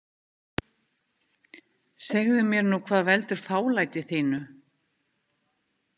Segðu mér nú hvað veldur fálæti þínu.